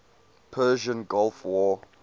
persian gulf war